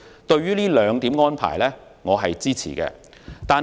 對於這兩點安排，我是支持的。